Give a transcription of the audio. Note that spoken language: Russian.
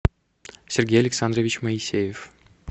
сергей александрович моисеев